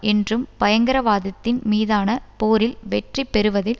என்றும் பயங்கரவாதத்தின் மீதான போரில் வெற்றி பெறுவதில்